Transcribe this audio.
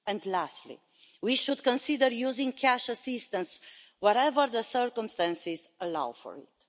Lastly, we should consider using cash assistance wherever the circumstances allow for it.